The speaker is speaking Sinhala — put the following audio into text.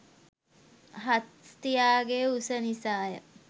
හස්තියාගේ උස නිසාය.